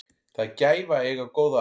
Það er gæfa að eiga góða að.